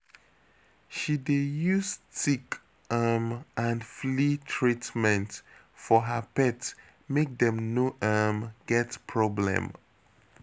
She dey use tick um and flea treatment for her pet make dem no um get problem.